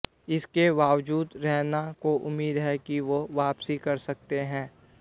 इसके बावजूद रैना को उम्मीद है कि वो वापसी कर सकते हैं